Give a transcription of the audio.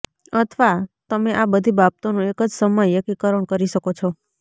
અથવા તમે આ બધી બાબતોનો એક જ સમયે એકીકરણ કરી શકો છો